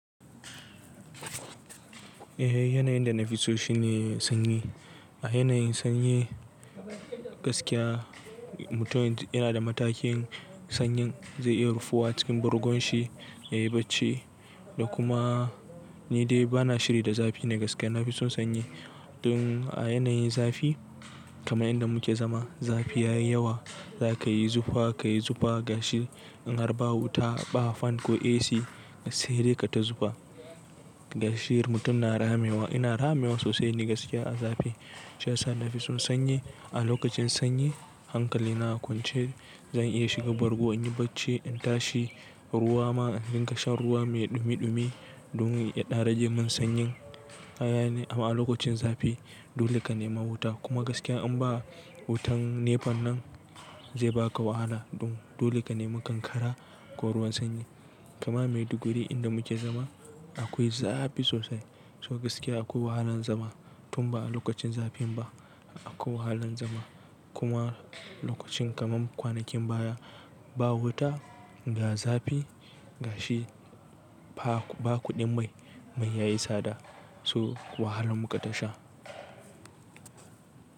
Eh, yanayin da na fi so shi ne sanyi. A yanayin sanyi gaskiya mutum yana da matakin sanyin zai iya rufuwa cikin bargon shi yayi bacci da kuma ni dai bana shiri da zafi na gaskiya. Na fi son sanyi. Don a yanayin zafi kaman inda muke zama zafi ya yi yawa za ka yi zufa, ka yi zufa gashi in har babu wuta, ba fan ko AC sai dai ka ta zufa. Gashi mutum na ramewa, ina ramewa sosai ni gaskiya a zafi shi ya sa na fi son sanyi. A lokacin sanyi hankali na a kwance zan iya shiga bargo in yi bacci in tashi ruwa ma in ka sha ruwa mai ɗumi ɗumi domin ya ɗarajin mun sanyin. A yanayin amma a wani lokacin zafi dole ka nemi wuta kuma gaskiya in ba wutan NEPA nan zai baka wahala don dole ka nemi kankara ko ruwan sanyi. Kuma Maiduguri inda muke zama akwai zafi sosai. So gaskiya akwai wahalar zama tun ba a lokacin zafin ba. Akwai wahalan zama kuma lokacin kaman kwanakin baya ba wuta, ga zafi gashi ba kuɗin mai, mai yayi tsada so wahalan mukai tasha.